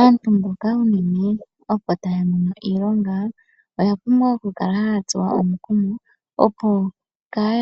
Aantu mboka unene opo tamono iilonga oyapumbwa oku kala ta tsuwa omukumo opo